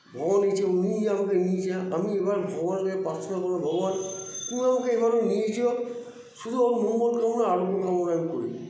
ভগবানের ইচ্ছে উনিই আমাকে নিয়ে যান আমি এবার ভগবানের কাছে প্রার্থনা করবো ভগবান তুমি আমাকে এবার ও নিয়ে যেও শুধু ওর মঙ্গল কামনা আরোগ্য কামনা আমি করি